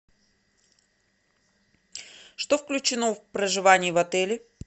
что включено в проживание в отеле